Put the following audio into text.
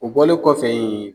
O bɔlen kɔfɛ ye